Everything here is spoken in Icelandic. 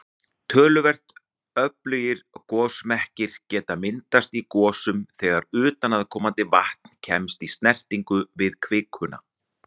Töluvert öflugir gosmekkir geta myndast í gosum þegar utanaðkomandi vatn kemst í snertingu við kvikuna.